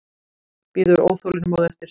Bíður óþolinmóð eftir svari.